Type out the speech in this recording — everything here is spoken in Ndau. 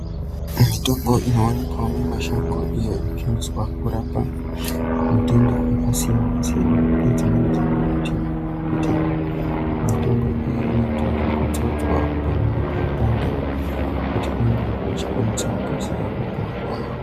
Mitombo inoonekwa mumashango iyo inoshandiswa kurapa matenda akasiyana siyana nedzimweni dzenguwa tinoona kuti mitombo iyi inozodzwa panenge peipanda kuti pange pachikwanisa kukasira kupora.